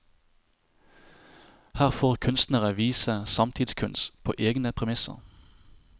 Her får kunstnere vise samtidskunst på egne premisser.